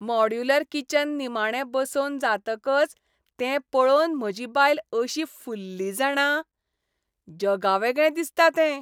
Modular kitchen निमाणें बसोवन जातकच तें पळोवन म्हजी बायल अशी फुल्ली जाणा. जगावेगळें दिसता तें!